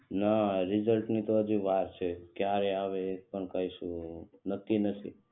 ના રીઝલ્ટ ને તો હજી વાર છે ક્યારે આવે એ પણ કઈજ કીધું નથી નક્કી-નથી.